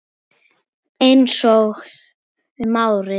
Einsog um árið.